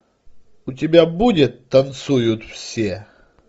у тебя будет танцуют все